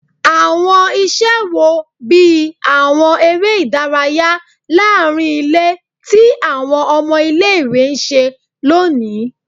Awọn iṣẹ wo, bii awọn ere idaraya laarin ile ti awọn ọmọ ile-iwe n ṣe loni?